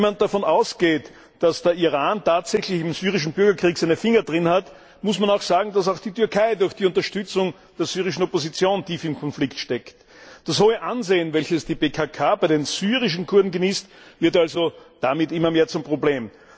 Wenn man davon ausgeht, dass der Iran tatsächlich im syrischen Bürgerkrieg seine Finger im Spiel hat, muss man auch sagen, dass auch die Türkei durch die Unterstützung der syrischen Opposition tief im Konflikt steckt. Das hohe Ansehen, welches die PKK bei den syrischen Kurden genießt, wird damit also immer mehr zum Problem.